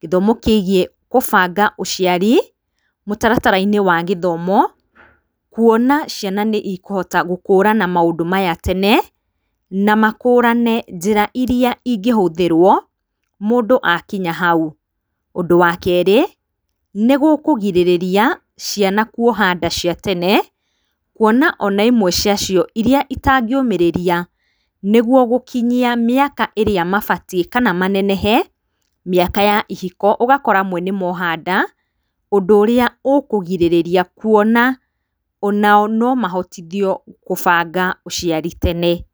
kĩthomo kĩigiĩ kũbanga ũciari ũtaratarainĩ wa gĩthomo kũona ciana nĩikũhota gũkũrana maũndũ maya tene na makũrane njĩra iria ingĩhũthĩrwo mũndũ akinya hau, ũndũ wa kerĩ nĩgũkũgirĩrĩria ciana kũoha nda cia tene kũona ona imwe cia cio iria itangĩũmĩrĩria nĩguo gũkĩnyia mĩaka ĩrĩa mabatie kana manenehe mĩaka ya ihiko ũgakora mo nĩmoha nda ũndũ ũrĩa ũkũgirĩrĩria kuona onao nomahotithio kũbanga ũciari tene.